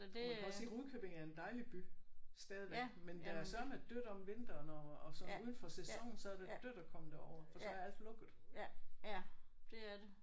Man kan også sige Rudkøbing er en dejlig by stadigvæk men der er søreme dødt om vinteren og og sådan uden for sæsonen så er det dødt at komme derover for så er alt lukket